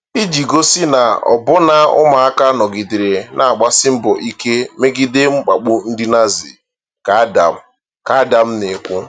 “Iji gosi na ọbụna ụmụaka nọgidere na-agbasi mbọ ike megide mkpagbu ndị Nazi ,” ka Adam ,” ka Adam na-ekwu.